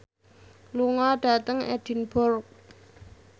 lunga dhateng Edinburgh